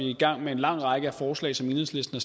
i gang med en lang række af forslag som enhedslisten